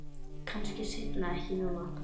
Kannski seinna en ekki núna.